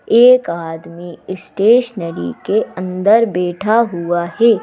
एक आदमी स्टेशनरी के अंदर बैठा हुआ है।